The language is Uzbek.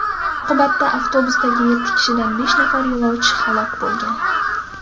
Oqibatda avtobusdagi yetti kishidan besh nafar yo‘lovchi halok bo‘lgan.